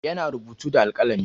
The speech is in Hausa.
Yana rubutu da alƙalami.